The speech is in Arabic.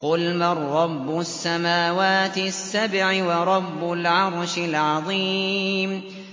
قُلْ مَن رَّبُّ السَّمَاوَاتِ السَّبْعِ وَرَبُّ الْعَرْشِ الْعَظِيمِ